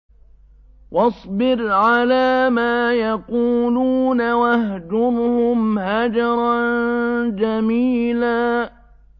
وَاصْبِرْ عَلَىٰ مَا يَقُولُونَ وَاهْجُرْهُمْ هَجْرًا جَمِيلًا